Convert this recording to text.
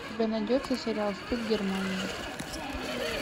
у тебя найдется сериал стыд германия